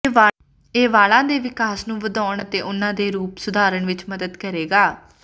ਇਹ ਵਾਲਾਂ ਦੇ ਵਿਕਾਸ ਨੂੰ ਵਧਾਉਣ ਅਤੇ ਉਹਨਾਂ ਦੇ ਰੂਪ ਸੁਧਾਰਨ ਵਿੱਚ ਮਦਦ ਕਰੇਗਾ